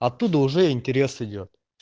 оттуда уже интерес идёт